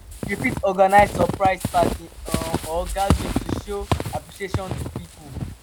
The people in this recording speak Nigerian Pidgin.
you fit organise surprise party um or gathering to show appreciation to pipo